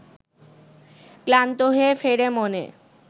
ক্লান্ত হয়ে ফেরে মনে